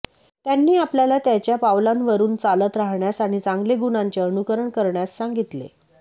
त्यांनी आपल्याला त्याच्या पावलांवरून चालत राहण्यास आणि चांगले गुणांचे अनुकरण करण्यास सांगितले